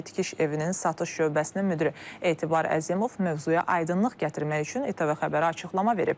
Bakı tikiş evinin satış şöbəsinin müdiri Etibar Əzimov mövzuya aydınlıq gətirmək üçün ATV xəbərə açıqlama verib.